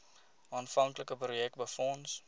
aanvanklike projek befonds